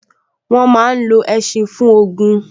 Wọ́n máa n lo ẹṣin fún ogun